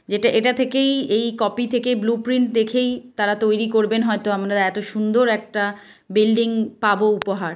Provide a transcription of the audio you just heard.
এটা-- এটা থেকেই এই কপি থেকে ব্লুপ্রিন্ট দেখেই তারা তৈরী করবেন হয়তো আমরা এত সুন্দর একটা বিল্ডিং পাব উপহার।